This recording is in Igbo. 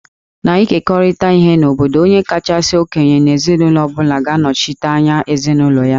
N'ịkekọrịta ihe n'obodo, onye kacha okenye n'ezinụlọ ọ bụla ga-anọchi anya ezinụlọ ha